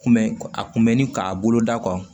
Kunbɛn a kun bɛ ni k'a bolo da